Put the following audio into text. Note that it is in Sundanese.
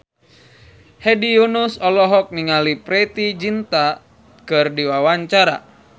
Hedi Yunus olohok ningali Preity Zinta keur diwawancara